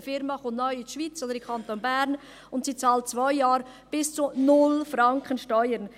Eine Unternehmung kommt neu in die Schweiz oder in den Kanton Bern und bezahlt während zwei Jahren bis zu 0 Franken Steuern.